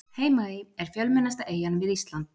Heimaey er fjölmennasta eyjan við Ísland.